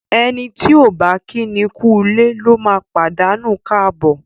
Ẹni tí ọ̀ bá kíni kúulé lóma pàdánù káàbọ̀.